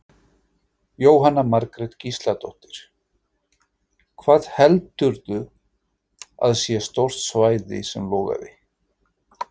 Jóhanna Margrét Gísladóttir: Hvað heldurðu að sé stórt svæði sem logaði?